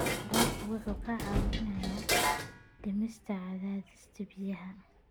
Waraabku waxa uu caawiyaa dhimista cadaadiska biyaha.